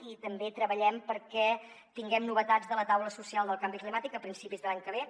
i també treballem perquè tinguem novetats de la taula social del canvi climàtic a principis de l’any que ve